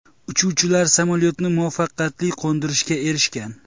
Uchuvchilar samolyotni muvaffaqiyatli qo‘ndirishga erishgan .